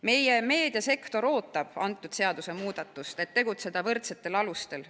Meie meediasektor ootab seda seadusemuudatust, et tegutseda võrdsetel alustel.